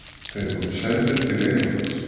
Þeir voru sendir til Englands.